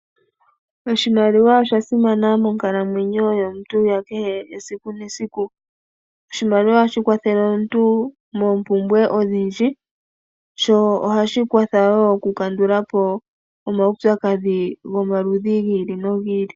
Oshimaliwa osha simana monkalamwenyo yomuntu yesiku nesiku. Oshimaliwa ohashi kwathele omuntu moompumbwe odhindji, sho ohashi kwatha wo oku kandula po omaupyakadhi gomaludhi gi ili nogi ili.